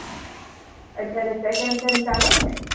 અત્યારે second sem ચાલે ને?